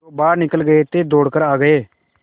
जो बाहर निकल गये थे दौड़ कर आ गये